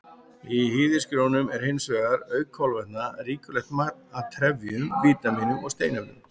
Í hýðishrísgrjónum er hins vegar, auk kolvetna, ríkulegt magn af trefjum, vítamínum og steinefnum.